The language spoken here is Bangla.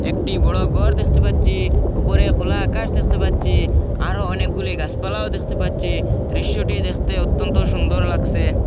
একটি বড় গর দেখতে পাচ্ছি উপরে খোলা আকাশ দেখতে পাচ্ছি আরও অনেকগুলি গাসপালাও দেখতে পাচ্ছি দৃশ্যটি দেখতে অত্যন্ত সুন্দর লাগসে।